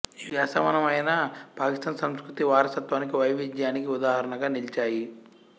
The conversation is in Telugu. ఇవి అసమానమైన పాకిస్థాన్ సంస్కృతిక వారస్వత్వానికి వైవిధ్యానికి ఉదాహరణగా నిలిచాయి